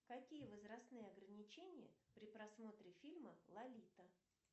какие возрастные ограничения при просмотре фильма лолита